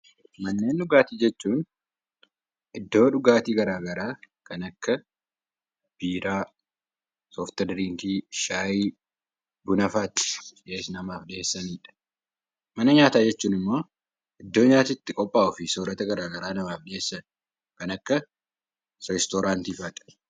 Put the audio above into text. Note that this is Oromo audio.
Manneen dhugaatii jechuun iddoo dhugaatii garaa garaa kan akka biiraa, sooftidiriinkii, shaayii, bunafaa itti namaaf dhiyeessanidha. Mana nyaataa jechuun immoo iddoo nyaati itti qophaa'uu fi soorata garaa garaa namaaf dhiyeessan kan akka reestooraantii faati.